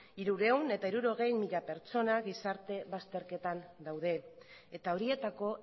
hirurehun eta hirurogei mila pertsona gizarte bazterketan daude eta horietako